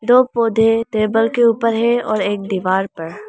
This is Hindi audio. दो पौधे टेबल के ऊपर है और एक दीवार पर।